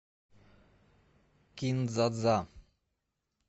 кин дза дза